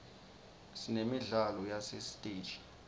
sinemidlalo yasesiteji